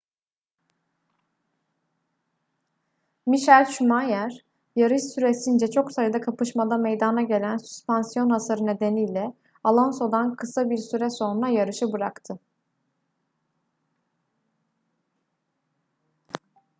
michael schumacher yarış süresince çok sayıda kapışmada meydana gelen süspansiyon hasarı nedeniyle alonso'dan kısa bir süre sonra yarışı bıraktı